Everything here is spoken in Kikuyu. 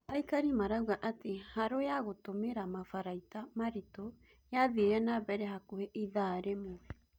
Aikari marauga atĩ harũ ya gũtũmĩra mabaraita marito yathiirĩ nambere hakuhĩ ithaa rĩmwe